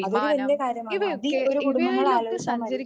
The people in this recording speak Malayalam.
അതൊരു വലിയ കാര്യമാണ്. അതീ ഓരോ കുടുംബങ്ങളും ആലോചിച്ചാൽ മതി.